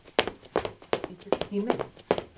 Það var voðalega lítill tími.